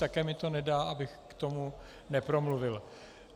Také mi to nedá, abych k tomu nepromluvil.